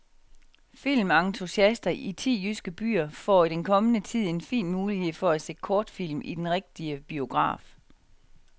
Filmentusiaster i ti jyske byer får i den kommende tid en fin mulighed for at se kortfilm i den rigtige biograf.